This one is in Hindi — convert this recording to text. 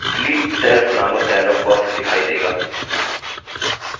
delete cells नामक dialog box दिखाई देगा